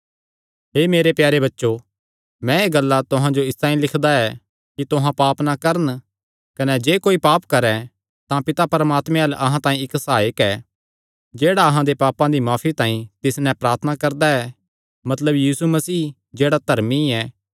हे मेरे प्यारे बच्चो मैं एह़ गल्लां तुहां जो इसतांई लिखदा ऐ कि तुहां पाप ना करन कने जे कोई पाप करैं तां पिता परमात्मे अल्ल अहां तांई इक्क सहायक ऐ जेह्ड़ा अहां दे पापां दी माफी तांई तिस नैं प्रार्थना करदा ऐ मतलब यीशु मसीह जेह्ड़ा धर्मी ऐ